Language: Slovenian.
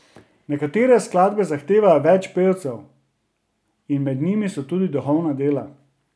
Nekatere skladbe zahtevajo več pevcev in med njimi so tudi duhovna dela.